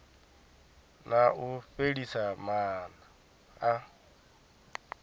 na u fhelisa maana a